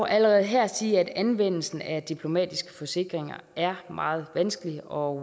allerede her sige at anvendelsen af diplomatiske forsikringer er meget vanskelig og